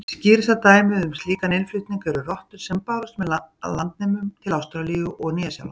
Skýrasta dæmið um slíkan innflutning eru rottur sem bárust með landnemum til Ástralíu og Nýja-Sjálands.